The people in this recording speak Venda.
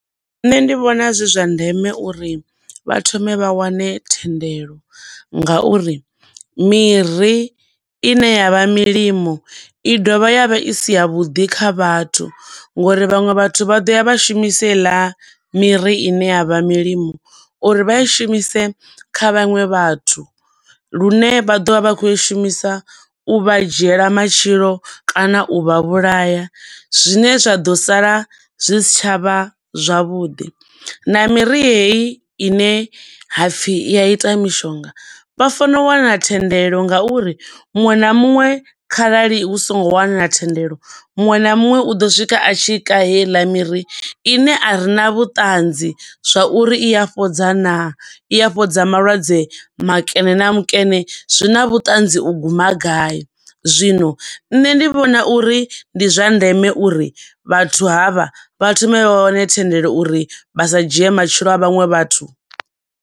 Nṋe ndi vhona zwizwa ndeme uri vha thome vha wane thendelo nga uri miri ine ya vha milimo i dovha ya vha i siya vhuḓi kha vhathu, ngo uri vhaṅwe vhathu vhaḓoya vha shumisa heiḽa miri ine ya vha milimo, uri vha i shumise kha vhaṅwe vhathu, lune vha ḓo vha vha kho i shumisa u vha dzhiela matshilo kana u vha vhulaha, zwine zwa ḓo sala zwi si tsha vha zwavhuḓi. Na miri heyi ine hapfi i ya ita mishonga, vha fana u wana thendelo nga uri muṅwe na muṅwe kharali hu songo wanala thendelo, muṅwe na muṅwe u ḓo swika a tshi ka heiḽa miri ine arina vhuṱanzi zwa uri i ya fhodza naa, i ya fhodza malwadze makene na makene, zwi na vhuṱanzi u guma gai. Zwino nṋe ndi vhona uri ndi zwa ndeme uri vhathu havha vha thoma vha wane thendelo uri vha sa dzhie matshilo a vhaṅwe vhathu.